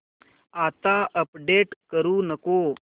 आता अपडेट करू नको